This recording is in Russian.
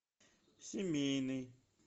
семейный